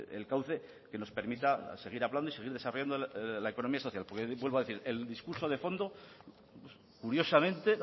el cauce que nos permita seguir hablando y seguir desarrollando la economía social porque vuelvo a decir el discurso de fondo curiosamente